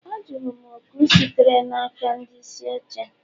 Ajụrụ m oku sitere n'aka ndị isi oche